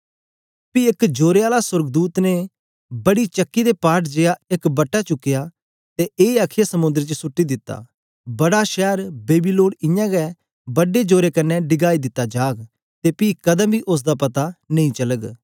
पी एक जोरे आला सोर्गदूत ने बड़ी चक्की दे पाट जेया एक बट्टे चुकया ते ए आखीयै समुंद्र च सुट्टी दिता बड़ा शैर बेबीलोन इयां गै बड्डे जोरे कन्ने डिगाई दिता जाग ते पी कदें बी उस्स दा पता नेई चालग